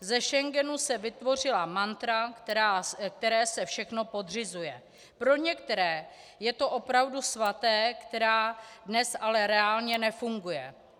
Ze Schengenu se vytvořila mantra, které se všechno podřizuje, pro některé je to opravdu svaté, která dnes ale reálně nefunguje.